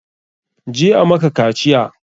Je a maka kaciya!